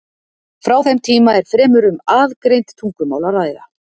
Frá þeim tíma er fremur um aðgreind tungumál að ræða.